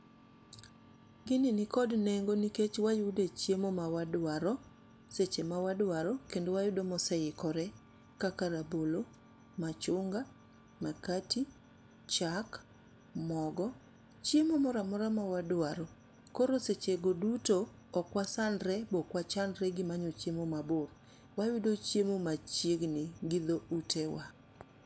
Gini nikod nengo nikech wayude chiemo ma wadwaro seche mawadwaro, kendo wayudo moseikore kaka rabolo, machunga, mkati, chak mogo chiemo mora mora mawadwaro. Koro seche go duto, ok wasandre be ok wachandre gi manyo chiemo mabor. Wayudo chiemo machiegni gi dho utewa.